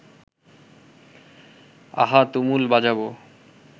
আহা তুমুল বাজাবো